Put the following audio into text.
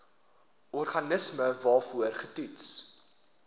organisme waarvoor getoets